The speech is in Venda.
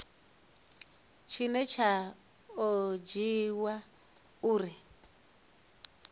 tshine tsha o dzhiiwa uri